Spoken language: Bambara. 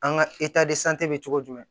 An ka bɛ cogo jumɛn